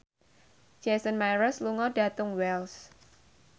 Jason Mraz lunga dhateng Wells